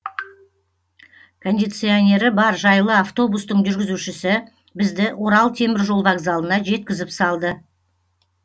кондиционері бар жайлы автобустың жүргізушісі бізді орал теміржол вокзалына жеткізіп салды